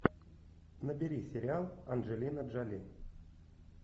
набери сериал анджелина джоли